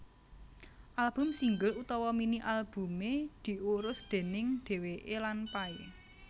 Album single utawa mini albumé diurus déning dheweké lan Pay